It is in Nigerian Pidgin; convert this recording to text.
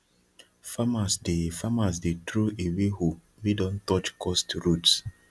farmers dey farmers dey throw away hoe wey don touch cursed roots